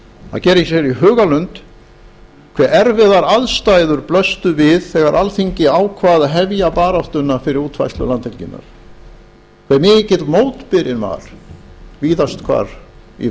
að gera sér í hugarlund hve erfiðar aðstæður blöstu við þegar alþingi ákvað að hefja baráttu fyrir útfærslu landhelginnar hve mikill mótbyrinn var víðast hvar í